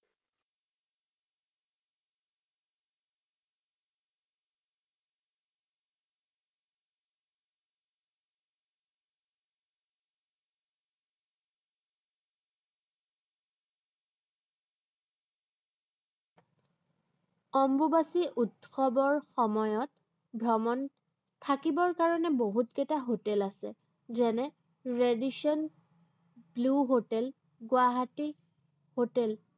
অম্বুবাসী উৎসৱৰ সময়ত ভ্ৰমণ, থাকিবৰ কাৰনে বহুতকেইটা হোটেল আছে। যেনে Radisson Blu hotel, Guwahati hotel